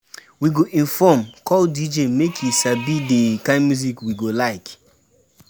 We go inform call DJ make e sabi the kind music we go like.